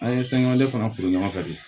An ye sangale fana to ɲɔgɔn fɛ bi